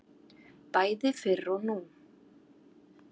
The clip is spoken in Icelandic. Bæði fyrr og nú.